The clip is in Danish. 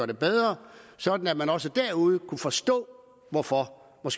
det bedre sådan at man også derude kunne forstå hvorfor og